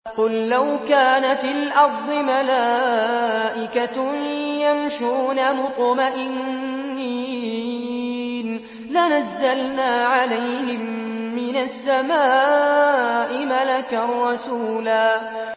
قُل لَّوْ كَانَ فِي الْأَرْضِ مَلَائِكَةٌ يَمْشُونَ مُطْمَئِنِّينَ لَنَزَّلْنَا عَلَيْهِم مِّنَ السَّمَاءِ مَلَكًا رَّسُولًا